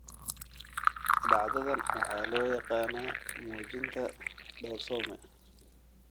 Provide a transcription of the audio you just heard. Dhacdadan waxaa loo yaqaannaa muujinta doorsoome.